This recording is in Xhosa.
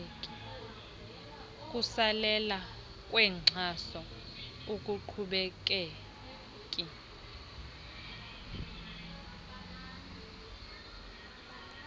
kusalela kwenkxaso akuqhubekeki